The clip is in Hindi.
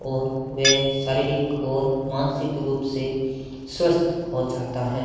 और वे शारीरिक और मानसिक रूप से स्वस्थ हो जाता है।